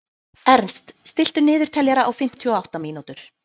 Ernst, stilltu niðurteljara á fimmtíu og átta mínútur.